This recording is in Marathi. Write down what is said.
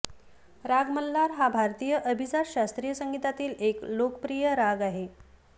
राग मल्हार हा भारतीय अभिजात शास्त्रीय संगीतातील एक लोकप्रिय राग आहे